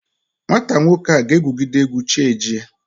Nwata nwoke ahụ ga-egwugide egwu chi ejie